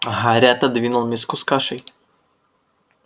гарри отодвинул миску с кашей